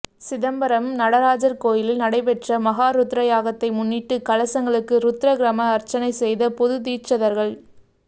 சிதம்பரம் நடராஜர் கோயிலில் நடைபெற்ற மகாருத்ர யாகத்தை முன்னிட்டு கலசங்களுக்கு ருத்ரகிரம அர்ரச்சனை செய்த பொதுதீட்சிதர்கள்